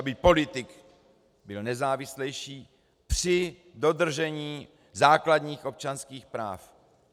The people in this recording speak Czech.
Aby politik byl nezávislejší při dodržení základních občanských práv.